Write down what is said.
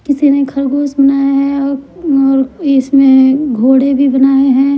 किसी ने खरगोश बनाया है अ और इसमें घोड़े भी बनाए हैं।